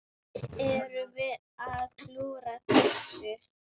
Erum við að klúðra þessu?